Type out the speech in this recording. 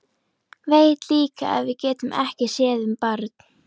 Veit líka að við getum ekki séð um barn.